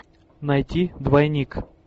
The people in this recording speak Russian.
найти двойник